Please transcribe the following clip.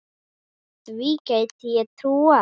Því gæti ég trúað